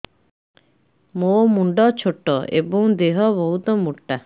ମୋ ମୁଣ୍ଡ ଛୋଟ ଏଵଂ ଦେହ ବହୁତ ମୋଟା